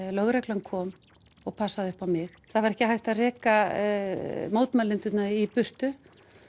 lögreglan kom og passaði upp á mig það var ekki hægt að reka mótmælendurna í burtu